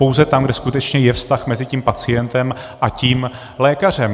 Pouze tam, kde skutečně je vztah mezi tím pacientem a tím lékařem.